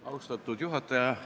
Austatud juhataja!